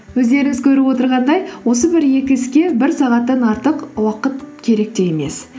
өздеріңіз көріп отырғандай осы бір екі іске бір сағаттан артық уақыт керек те емес